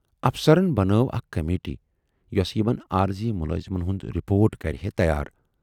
افسرن بنٲو اکھ کمیٹی یۅسہٕ یِمن عٲرضی مُلٲزمن ہُند رِپوٹ کرِہے تیار۔